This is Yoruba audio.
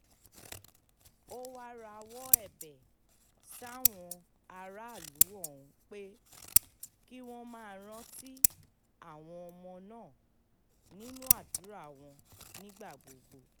ó wáá rawọ́ ẹ̀bẹ̀ sáwọn aráàlú ọ̀hún pé kí wọ́n máa rántí àwọn ọmọ náà nínú àdúrà wọn nígbà gbogbo